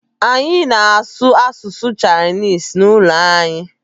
Anyị na-asụ asụsụ Chinese n'ụlọ anyị.